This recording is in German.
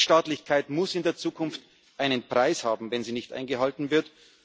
ist. Rechtsstaatlichkeit muss in der Zukunft einen Preis haben, wenn sie nicht eingehalten wird.